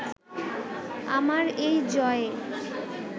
আমার এই জয়ে